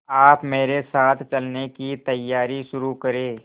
आप मेरे साथ चलने की तैयारी शुरू करें